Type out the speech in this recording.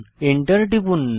enter টিপুন